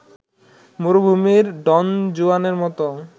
মরুভূমির ডনজুয়ানের মত